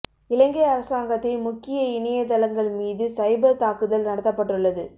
இலங்கை அரசாங்கத்தின் முக்கிய இணைய தளங்கள் மீது சைபர் தாக்குதல் நடத்தப்பட்டுள்ளது